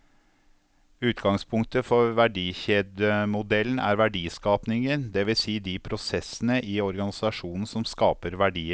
Utgangspunktet for verdikjedemodellen er verdiskapingen, det vil si de prosessene i organisasjonen som skaper verdier.